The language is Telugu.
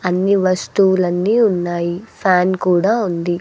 అన్ని వస్తువులన్నీ ఉన్నాయి ఫ్యాన్ కూడా ఉంది.